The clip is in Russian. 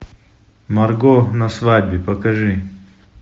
марго на свадьбе покажи